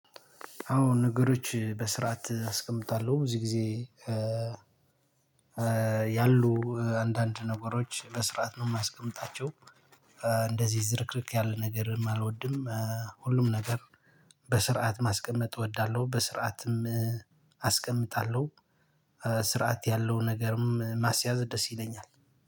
አሁን ነገሮች በስርዓት አስቀምጣለሁ ብዙ ጊዜ። ያሉ አንዳንድ ነገሮች በስርዓት ነው የማስቀምጣቸው። እንደዚህ ዝርክርክ ያለ ነገር አልወድም። ሁሉም ነገር በስርዓት ማስቀመጥ እወዳለሁ በስርዓትም አስቀምጣለሁ። ስርዓት ያለው ነገርም ማስያዝ ደስ ይለኛል